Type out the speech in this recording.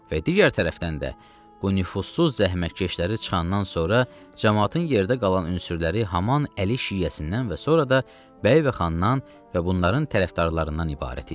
Və digər tərəfdən də bu nüfuzsuz zəhmətkeşləri çıxandan sonra camaatın yerdə qalan ünsürləri haman əli şiəsindən və sonra da bəy və xandan və bunların tərəfdarlarından ibarət idi.